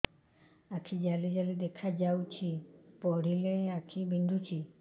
ଆଖି ଜାଲି ଜାଲି ଦେଖାଯାଉଛି ପଢିଲେ ଆଖି ବିନ୍ଧୁଛି